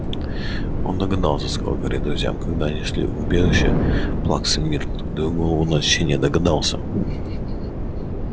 он догадался сказал гарри друзьям когда они шли в убежище плаксы миртл даю голову на отсечение догадался